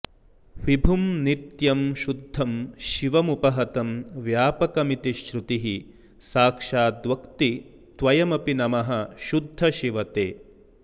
विभुं नित्यं शुद्धं शिवमुपहतं व्यापकमिति श्रुतिः साक्षाद्वक्ति त्वयमपि नमः शुद्ध शिव ते